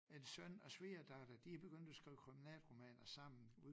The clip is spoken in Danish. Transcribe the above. En søn og svigerdatter de er begyndt at skrive kriminalromaner sammen